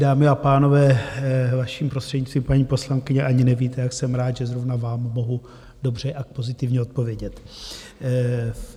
Dámy a pánové, vaším prostřednictvím, paní poslankyně, ani nevíte, jak jsem rád, že zrovna vám mohu dobře a pozitivně odpovědět.